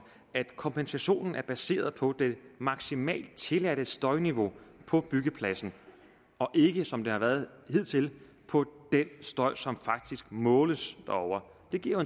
at kompensationen er baseret på det maksimalt tilladte støjniveau på byggepladsen og ikke som det har været hidtil på den støj som faktisk måles derovre det giver